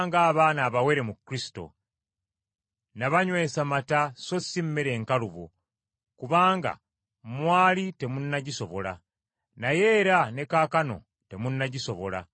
Nabanywesa mata so si mmere enkalubo, kubanga mwali temunnagisobola. Naye era ne kaakano temunnagisobola,